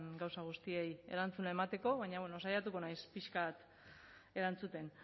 gauza guztiei erantzuna emateko baina bueno saiatuko naiz pixka bat erantzuten